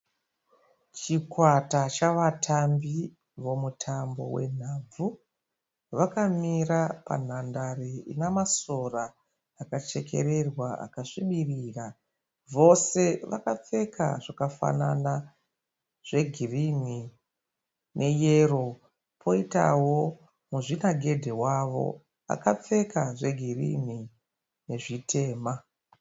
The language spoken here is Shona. Chikwata chavatambi vemutambo wenhabvu. Vakamira panhandare inamasora akachekererwa akasvibirira. Vose vakapfeka zvakafanana zvegirini neyero. Poitawo muzvinagedhe wavo akapfeka zvegirinhi nezvitema.